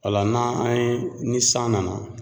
O la n'an an ye ni san nana